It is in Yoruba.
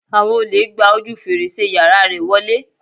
Àwọn olè gba ojú fèrèsé yàrá rẹ̀ wọlé.